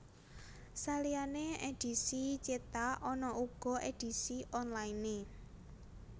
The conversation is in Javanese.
Saliyane edhisi cetak ana uga edisi onlinene